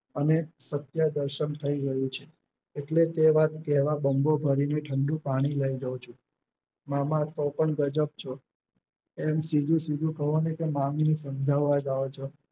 અને સત્ય દસમ થયું ગયું છે એટલે તે વાત કેહવા બમ્બો ભરીને ઠંડુ પાણી લઇ જાવ છું. મામા તો પણ ગજબ છો એમ સીધું સીધું કહોને કે મામીને સમજવા જાવ છો